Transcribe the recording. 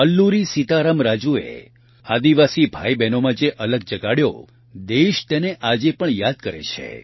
અલ્લુરી સીતારામ રાજૂએ આદિવાસી ભાઇબહેનોમાં જે અલખ જગાડ્યો દેશ તેને આજે પણ યાદ કરે છે